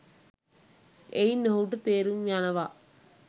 එයින් ඔහුට තේරුම් යනවා